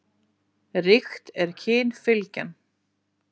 Ríkt er kynfylgjan.